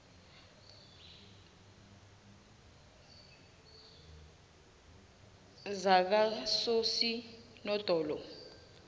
zakososinodolo